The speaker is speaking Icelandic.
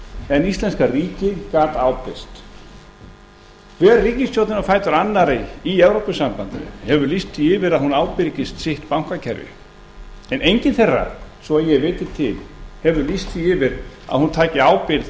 en íslenska ríkið gat ábyrgst hver ríkisstjórnin á fætur annarri í evrópusambandinu hefur lýst því yfir að hún ábyrgist sitt bankakerfi en engin þeirra svo að ég viti til hefur lýst því yfir að hún taki ábyrgð